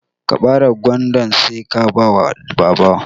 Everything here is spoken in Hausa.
Ka bare gwandan Sai ka bawa baba.